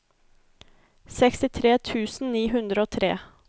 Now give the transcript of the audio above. sekstitre tusen ni hundre og tre